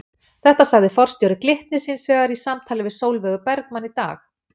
Þetta sagði forstjóri Glitnis hins vegar í samtali við Sólveigu Bergmann í dag?